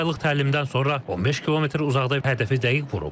Dörd aylıq təlimdən sonra 15 kilometr uzaqda hədəfi dəqiq vurub.